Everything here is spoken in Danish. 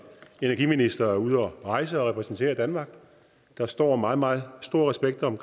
energiminister er ude at rejse og repræsenterer danmark der står meget meget stor respekt om